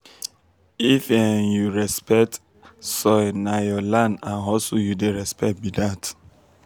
if um you respect um soil na your land and hustle you dey respect be dat.